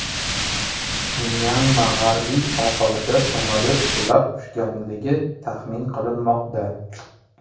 Myanma g‘arbiy sohilida samolyot qulab tushganligi taxmin qilinmoqda.